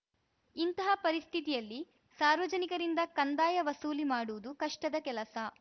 ಇಂತಹ ಪರಿಸ್ಥಿತಿಯಲ್ಲಿ ಸಾರ್ವಜನಿಕರಿಂದ ಕಂದಾಯ ವಸೂಲಿ ಮಾಡುವುದು ಕಷ್ಟದ ಕೆಲಸ